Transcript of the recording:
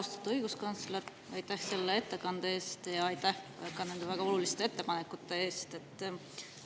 Austatud õiguskantsler, aitäh selle ettekande eest ja aitäh ka nende väga oluliste ettepanekute eest!